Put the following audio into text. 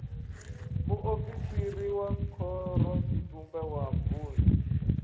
muofisiri wa khorotshitumbe wa vunḓu